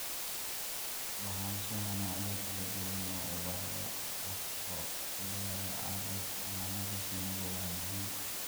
Lahaanshaha noocyo kala duwan oo ubaxyo ah oo ku yaal aagga xanaanada shinnidu waa muhiim.